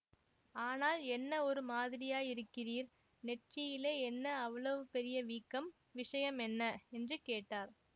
ஆனால் என்ன ஒரு மாதிரியாயிருக்கிறீர் நெற்றியிலே என்ன அவ்வளவு பெரிய வீக்கம் விஷயம் என்ன என்று கேட்டார்